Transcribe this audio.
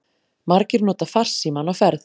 Margir nota farsímann á ferð